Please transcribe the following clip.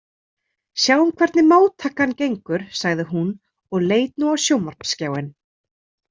Sjáum hvernig móttakan gengur, sagði hún og leit nú á sjónvarpsskjáinn.